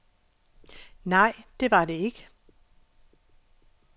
Nej, det var det ikke.